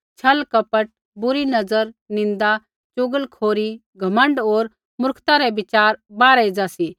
व्यभिचार लालच दुष्टता छल कपट बुरी नज़र निन्दा चुगलखोरी घमण्ड होर मुर्खता रै विचार बाहरै एज़ा सी